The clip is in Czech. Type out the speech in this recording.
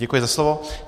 Děkuji za slovo.